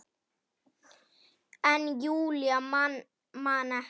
En Júlía man ekki.